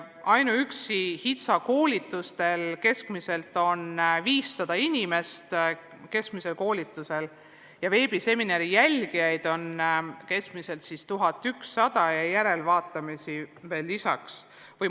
Ainuüksi HITSA koolitustel osaleb keskmiselt 500 inimest, veebiseminaride jälgijaid on keskmiselt 1100, järelvaatamised veel lisaks.